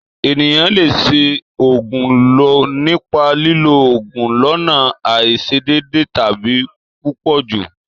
Èniyàn le se ògùn lo nipa lilo òògùn lọ́nà àisedede tàbi púpọ̀jù